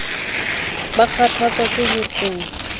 ba kgathatswa ke ho se